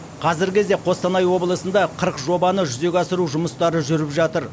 қазіргі кезде қостанай облысында қырық жобаны жүзеге асыру жұмыстары жүріп жатыр